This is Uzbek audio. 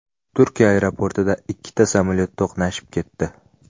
Turkiya aeroportida ikkita samolyot to‘qnashib ketdi.